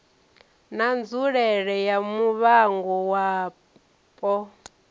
na nzulele ya muvhango wapo